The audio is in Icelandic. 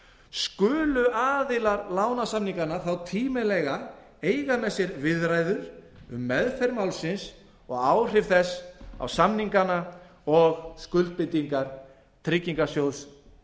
skulu aðilar lánasamninganna þá tímanlega eiga með sér viðræður um meðferð málsins og áhrif þess á samningana og skuldbindingar tryggingarsjóðs